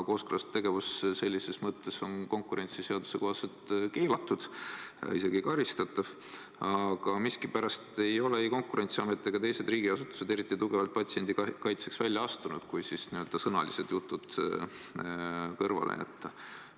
Kooskõlastatud tegevus sellises mõttes on konkurentsiseaduse kohaselt keelatud, isegi karistatav, aga miskipärast ei ole ei Konkurentsiamet ega teised riigiasutused eriti tugevalt patsiendi kaitseks välja astunud, kui n-ö sõnalised jutud kõrvale jätta.